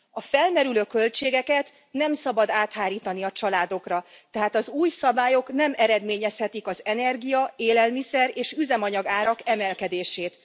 A felmerülő költségeket nem szabad áthárítani a családokra, tehát az új szabályok nem eredményezhetik az energia élelmiszer és üzemanyagárak emelkedését.